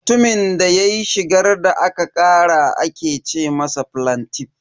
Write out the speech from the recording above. Mutumin da ya shigar da kara ake ce ma flantiff.